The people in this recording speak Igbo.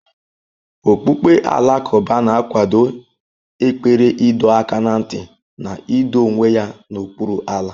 Okpukpe Alakụba na-akwado ekpere ịdọ aka ná ntị na ido onwe ya n'okpuru Allah.